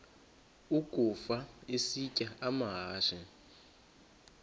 ukafa isitya amahashe